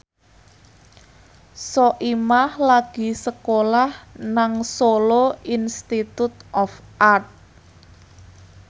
Soimah lagi sekolah nang Solo Institute of Art